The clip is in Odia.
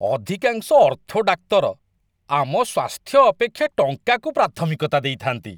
ଅଧିକାଂଶ ଅର୍ଥୋ ଡାକ୍ତର ଆମ ସ୍ୱାସ୍ଥ୍ୟ ଅପେକ୍ଷା ଟଙ୍କାକୁ ପ୍ରାଥମିକତା ଦେଇଥାନ୍ତି।